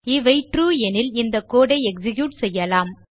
இவை ட்ரூ எனில் இந்த கோடு ஐ எக்ஸிக்யூட் செய்யலாம்